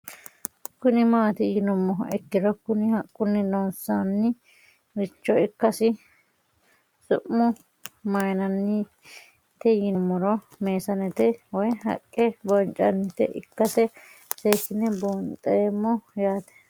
Kuni mati yinumoha ikiro Kuni haqquni loonsani richo ikana su'mua mayinanite yiinumoro meesanete woyi haqe bocinanita ikase sekine bundhemo yaate